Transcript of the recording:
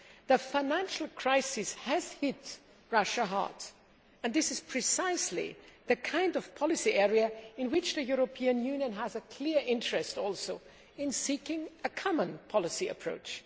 The financial crisis has hit Russia hard, and this is precisely the kind of policy area in which the European Union also has a clear interest in seeking a common policy approach.